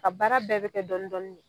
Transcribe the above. A baara bɛɛ be kɛ dɔni dɔni de